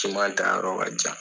taa yɔrɔ ka jan.